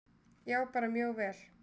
Já, bara mjög vel.